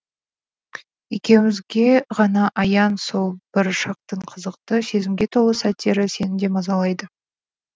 екеуімізге ғана аян сол бір шақтың қызықты сезімге толы сәттері сені де мазалайды